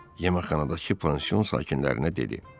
Yeməkxanadakı pansion sakinlərinə dedi: